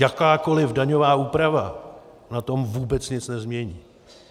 Jakákoli daňová úprava na tom vůbec nic nezmění.